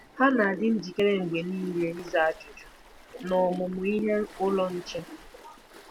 “Ha na-adị njikere mgbe nile ịza ajụjụ n’Ọmụmụ Ihe Ụlọ Nche.”